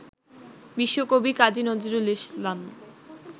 বিশ্বকবি কাজী নজরুল ইসলাম